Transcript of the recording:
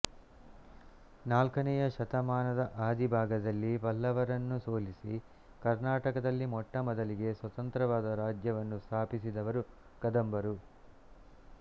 ನಾಲ್ಕನೆಯ ಶತಮಾನದ ಆದಿಭಾಗದಲ್ಲಿ ಪಲ್ಲವರನ್ನು ಸೋಲಿಸಿ ಕರ್ನಾಟಕದಲ್ಲಿ ಮೊಟ್ಟಮೊದಲಿಗೆ ಸ್ವತಂತ್ರವಾದ ರಾಜ್ಯವನ್ನು ಸ್ಥಾಪಿಸಿದವರು ಕದಂಬರು